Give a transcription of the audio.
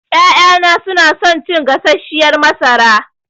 Ƴaƴana suna son cin gasasshiyar masara.